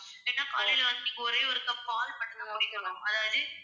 ஏன்னா காலையில வந்து நீங்க ஒரே ஒரு cup பால் மட்டும் குடிக்கனும். அதாவது